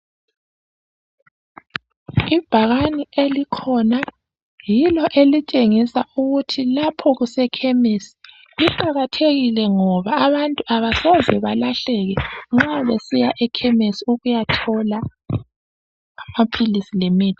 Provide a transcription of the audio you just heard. Ibhakani elikhona yilo elitshengisa ukuthi lapho kuse khemisi kuqakathekile ngoba abantu abasoze belahleke nxa besiya ekhemisi ukuyathola amaphilisi lemithi